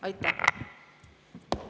Aitäh!